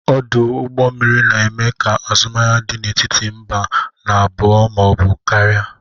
Ọdụ ụgbọ mmiri na-eme ka azụmahịa dị n'etiti mba n'abụọ ma ọ bụ karịa.